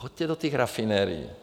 Choďte do těch rafinerií.